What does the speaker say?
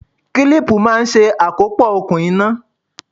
Kílípù máa ń ṣe àkópọ̀ okùn iná.